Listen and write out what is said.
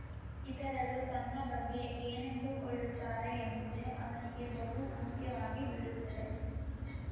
ಇತರರು ತನ್ನ ಬಗ್ಗೆ ಏನೆಂದುಕೊಳ್ಳುತ್ತಾರೆ ಎಂಬುದೇ ಅವನಿಗೆ ಬಹು ಮುಖ್ಯವಾಗಿ ಬಿಡುತ್ತದೆ